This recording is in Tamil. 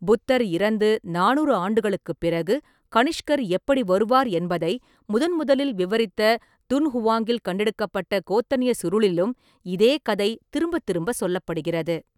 புத்தர் இறந்து நானூறு ஆண்டுகளுக்குப் பிறகு கனிஷ்கர் எப்படி வருவார் என்பதை முதன்முதலில் விவரித்த துன்ஹுவாங்கில் கண்டெடுக்கப்பட்ட கோத்தனீயச் சுருளிலும் இதே கதை திரும்பத் திரும்ப சொல்லப்படுகிறது.